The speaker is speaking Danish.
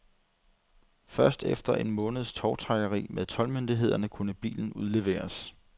Først efter en måneds tovtrækkeri med toldmyndighederne kunne bilen udleveres.